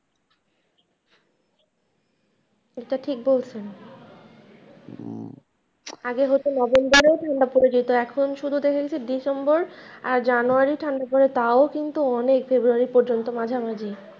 এটা ঠিক বলছেন আগে হত november এ ঠান্ডা পরে যেত এখন শুধু দেখা গেছে december আর january ঠান্ডা পরে তাও কিন্তু অনেক february পর্যন্ত মাঝামাঝি।